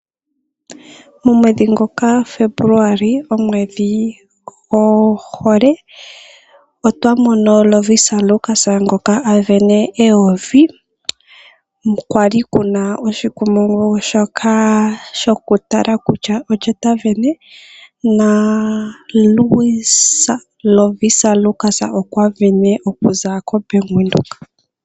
Momwedhi ngoka Febuluali, omwedhi gwo hole otwa mono Lovisa Lukas ngoka a vene eyovi kwali oshikumungu shoka shoku tala kutya olye ta vene, naLovisa Lukas okwa vene okuza koBank Windhoek.